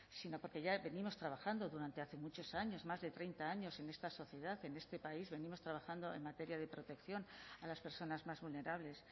sino porque ya venimos trabajando durante hace muchos años más de treinta años en esta sociedad en este país venimos trabajando en materia de protección a las personas más vulnerables